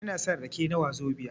Ina son rake na wazobia